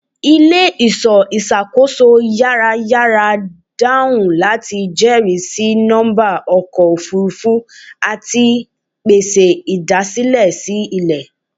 Ile-iṣọ iṣakoso yarayara dahun lati jẹrisi nọmba ọkọ ofurufu ati pese idasilẹ si ilẹ